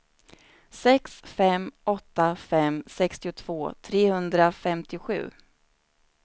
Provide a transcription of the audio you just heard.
sex fem åtta fem sextiotvå trehundrafemtiosju